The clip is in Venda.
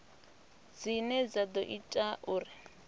dzine dza ḓo ita uri